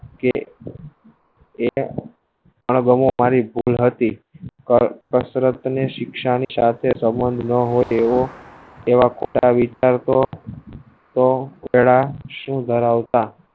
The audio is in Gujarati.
એના કરવા અણગમો ભૂલ હતી પર હસરત ને શિક્ષા ની સાથે સંબંધ ન હોય એવો એવા ખોટા વિસ્તાર તો તેના કશું ધરાવતા